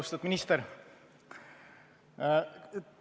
Austatud minister!